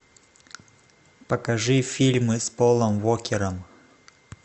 покажи фильмы с полом уокером